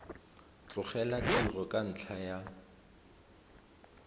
tlogela tiro ka ntlha ya